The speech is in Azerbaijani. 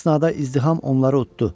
Bu əsnada izdiham onları uddudu.